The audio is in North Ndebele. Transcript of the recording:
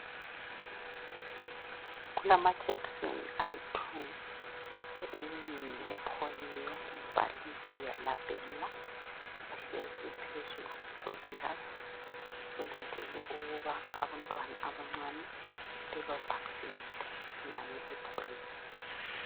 Kulamajekiseni ayithu eyinye ngeyepholiyo ibhaliwe yalabhelwa. Ahlezi phezu kwekilasi kulindwe ukuba abantwana abancane bebavaccinate ngayo ipholiyo.